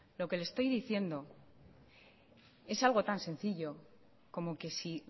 lo que le estoy diciendo es algo tan sencillo como que si